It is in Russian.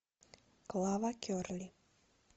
клава керли